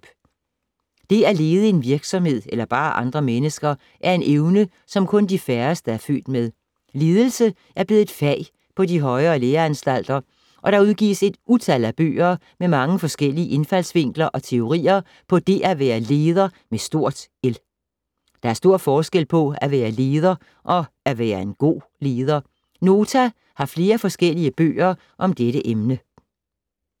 Det at lede en virksomhed eller bare andre mennesker er en evne, som kun de færreste er født med. Ledelse er blevet et fag på de højere læreanstalter og der udgives et utal af bøger med mange forskellige indfaldsvinkler og teorier på det at være leder med stort L. Der er stor forskel på at være leder og at være en god leder. Nota har flere forskellige bøger om dette emne.